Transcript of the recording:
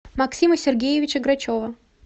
максима сергеевича грачева